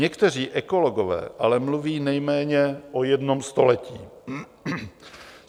Někteří ekologové ale mluví nejméně o jednom století.